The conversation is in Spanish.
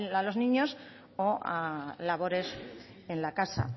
a los niños o a labores en la casa